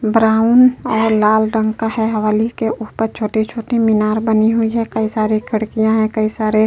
Brown आ लाल रंग का है। हवेली के ऊपर छोटे-छोटे मीनार बने हुई हैं। कई सारे खिड़किया हैं। कई सारे --